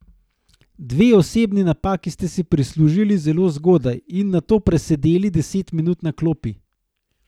Dve osebni napaki ste si prislužili zelo zgodaj in nato presedeli deset minut na klopi.